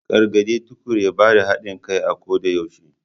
Gargade Tukur ya bada hadin kai a koda yaushe.